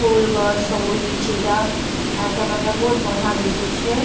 ଫୁଲ୍‌ ଗଛ୍‌ ସବୁ ହେଇଛେ ଇଟା ଆଖେ ପାଖେ ବହୁତ ବଢିଆ ଦିଶୁଛେ।